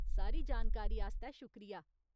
सारी जानकारी आस्तै शुक्रिया।